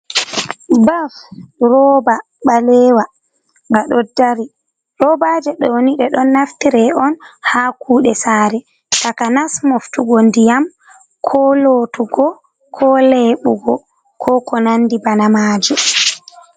Baf roba ɓalewa ba ɗo dari. Robaje ɗoni nde ɗon naftira on ha kuɗe sare takanas moftugo ndiyam, ko lotugo, ko leɓugo ko ko nandi bana maaji.